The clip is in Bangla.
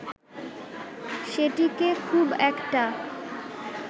সেটিকে খুব একটা